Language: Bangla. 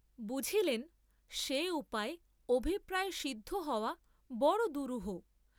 বুঝিলেন সে উপায়ে অভিপ্রায় সিদ্ধ হওয়া বড় দুরূহ।